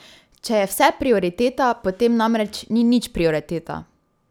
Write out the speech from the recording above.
Če je vse prioriteta, potem namreč ni nič prioriteta.